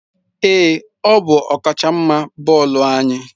Ee, ọ bụ ọkachamma bọọlụ anyị.